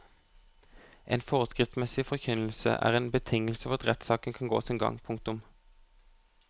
En forskriftsmessig forkynnelse er en betingelse for at rettssaken kan gå sin gang. punktum